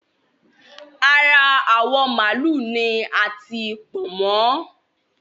Ara awọ̀ màálù ni a tí Pọ̀nmọ́